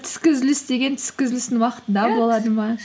түскі үзіліс деген түскі үзілістің уақытында